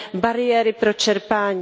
bariéry pro čerpání.